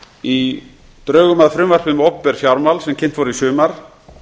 í drögum að frumvarpi um opinber fjármál sem kynnt voru í sumar